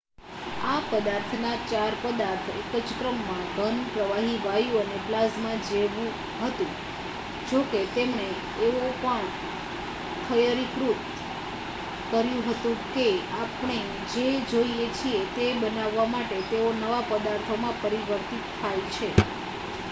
આ પદાર્થના ચાર પદાર્થ એક જ ક્રમમાં: ઘન પ્રવાહી વાયુ અને પ્લાઝમા જેવુ હતું જોકે તેમણે એવો પણ થયરીકૃત કર્યું હતુ કે આપણે જે જોઈએ છીએ તે બાનવવા માટે તેઓ નવા પદાર્થોમાં પરિવર્તિત થાય છે